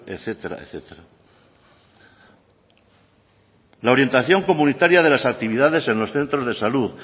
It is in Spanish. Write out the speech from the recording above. etcétera etcétera la orientación comunitaria de las actividades en los centros de salud